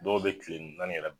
Dɔw be tile naani yɛrɛ